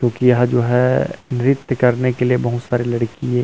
क्योंकि यह जो है नृत्य करने के लिए बहुत सारी लड़की ये --